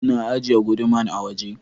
Na ajiye guduman a waje.